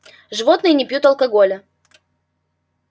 животные не пьют алкоголя